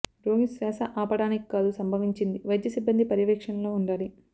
రోగి శ్వాస ఆపడానికి కాదు సంభవించింది వైద్య సిబ్బంది పర్యవేక్షణలో ఉండాలి